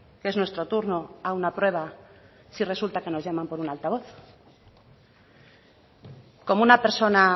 que es nuestro turno a una prueba si resulta que nos llaman por un altavoz cómo una persona